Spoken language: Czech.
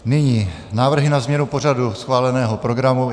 Nyní návrhy na změnu pořadu schváleného programu.